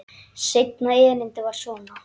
Seinna erindið var svona: